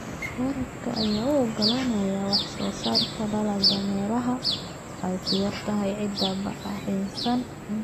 Waraabka ayaa u oggolaanaya wax-soo-saarka dalagga meelaha ay ku yar tahay ciidda bacrinsan.